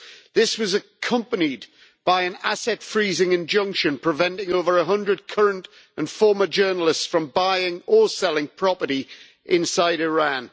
This was accompanied by an asset freezing injunction, preventing over 100 current and former journalists from buying or selling property inside Iran.